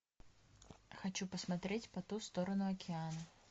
хочу посмотреть по ту сторону океана